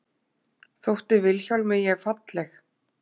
Þótti Vilhjálmi ég falleg?